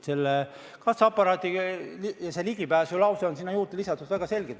Selle kassaaparaadi ja ligipääsu lause on sinna juurde lisatud väga selgelt.